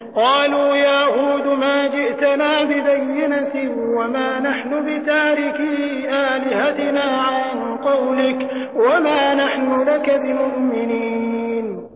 قَالُوا يَا هُودُ مَا جِئْتَنَا بِبَيِّنَةٍ وَمَا نَحْنُ بِتَارِكِي آلِهَتِنَا عَن قَوْلِكَ وَمَا نَحْنُ لَكَ بِمُؤْمِنِينَ